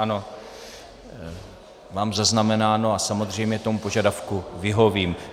Ano, mám zaznamenáno a samozřejmě tomu požadavku vyhovím.